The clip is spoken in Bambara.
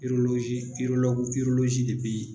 de be ye